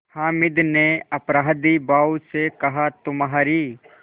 हामिद ने अपराधीभाव से कहातुम्हारी